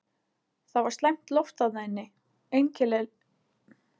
Það var slæmt loft þarna inni, einkennileg lykt og heitt.